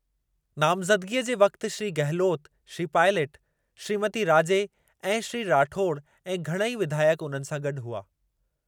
नामज़दगीअ जे वक़्ति श्री गहलोत, श्री पायलट, श्रीमती राजे ऐं श्री राठौड़ ऐं घणई विधायक उन्हनि सां गॾु हुआ।